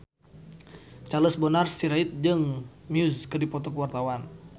Charles Bonar Sirait jeung Muse keur dipoto ku wartawan